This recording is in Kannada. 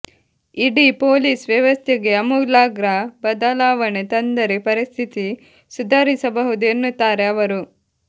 ಇಡೀ ಪೊಲೀಸ್ ವ್ಯವಸ್ಥೆಗೆ ಅಮೂಲಾಗ್ರ ಬದಲಾವಣೆ ತಂದರೆ ಪರಿಸ್ಥಿತಿ ಸುಧಾರಿಸಬಹುದು ಎನ್ನುತ್ತಾರೆ ಅವರು